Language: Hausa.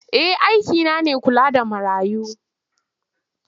Eh aikina ne kula da marayu.